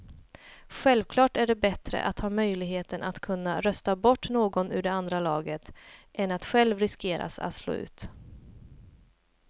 Självklart är det bättre att ha möjligheten att kunna rösta bort någon ur det andra laget än att själv riskera att slås ut.